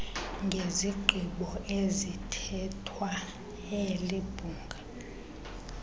ngezigqibo ezithathwe libhunga